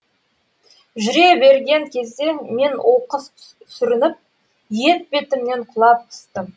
жүре берген кезде мен оқыс сүрініп етбетімнен құлап түстім